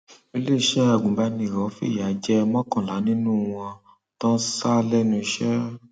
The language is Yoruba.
iléeṣẹ agùnbánirò fìyà jẹ mọkànlá nínú wọn tó ń sá lẹnu iṣẹ